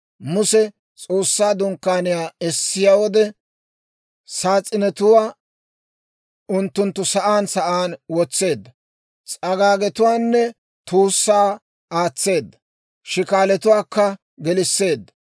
Muse S'oossaa Dunkkaaniyaa essiyaa wode, saas'inetuwaa unttunttu sa'aan sa'aan wotseedda; s'agaagetuwaanne tuussaa aatseedda; shikaalatuwaakka gelisseedda.